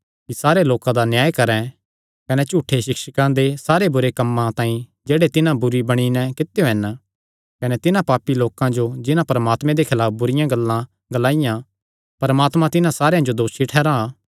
कि सारे लोकां दा न्याय करैं कने झूठे सिक्षकां दे सारे बुरे कम्मां तांई जेह्ड़े तिन्हां बुरे बणी नैं कित्यो हन कने तिन्हां पापी लोकां जो जिन्हां परमात्मे दे खलाफ बुरिआं गल्लां ग्लाईयां परमात्मा तिन्हां सारेयां जो दोसी ठैहरां